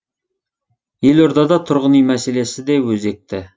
елордада тұрғын үй мәселесі де өзекті